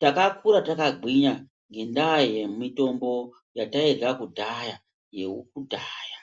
takakura takagwinya ngendaa yemumbuti yairla kudhaya yekudhaya